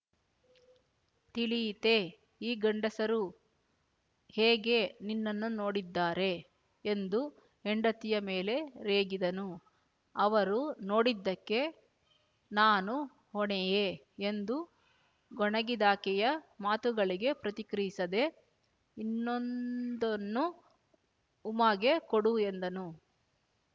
ತಿಳಿಯಿತೇ ಈ ಗಂಡಸರು ಹೇಗೆ ನಿನ್ನನ್ನು ನೋಡಿದ್ದಾರೆ ಎಂದು ಹೆಂಡತಿಯ ಮೇಲೆ ರೇಗಿದನು ಅವರು ನೋಡಿದ್ದಕ್ಕೆ ನಾನು ಹೊಣೆಯೇ ಎಂದು ಗೊಣಗಿದಾಕೆಯ ಮಾತುಗಳಿಗೆ ಪ್ರತಿಕ್ರಿಯಿಸದೆ ಇನ್ನೊಂದನ್ನು ಉಮಾಗೆ ಕೊಡು ಎಂದನು